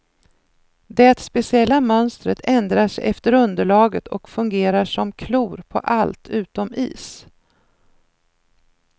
Det speciella mönstret ändrar sig efter underlaget och fungerar som klor på allt utom is.